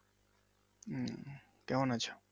উম কেমন আছো?